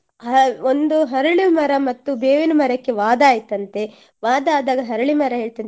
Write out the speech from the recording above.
ಹಾ~ ಒಂದು ಹರಳು ಮರ ಮತ್ತು ಬೇವಿನ ಮರಕ್ಕೆ ವಾದ ಆಯಿತಂತೆ ವಾದ ಅದಾಗ ಹರಳಿ ಮರ ಹೇಳ್ತಂತೆ